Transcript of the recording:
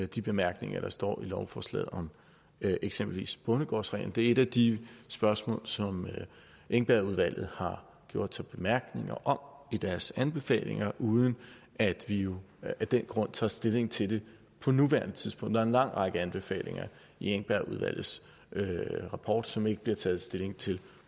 de bemærkninger der står i lovforslaget om eksempelvis bondegårdsreglen det er et af de spørgsmål som engbergudvalget har gjort bemærkninger om i deres anbefalinger uden at vi jo af den grund tager stilling til det på nuværende tidspunkt der er en lang række anbefalinger i engbergudvalgets rapport som der ikke bliver taget stilling til